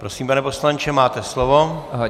Prosím, pane poslanče, máte slovo.